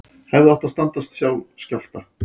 Hefðu átt að standast skjálfta